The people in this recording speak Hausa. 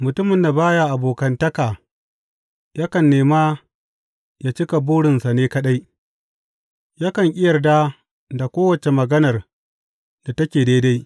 Mutumin da ba ya abokantaka yakan nema ya cika burinsa ne kaɗai; yakan ƙi yarda da kowace maganar da take daidai.